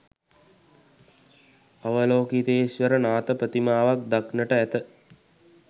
අවලෝකිතේශ්වර නාථ ප්‍රතිමාවක් දක්නට ඇත.